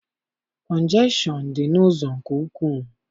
Kọnjekshọn dị n'ụzọ nke ukwu.